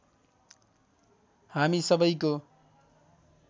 हामी सबैको